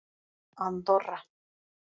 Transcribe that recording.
Andorra